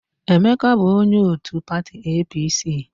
Emeka bụ onye òtù pati EePiiSii.